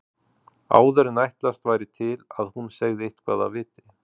Áður en ætlast væri til að hún segði eitthvað af viti.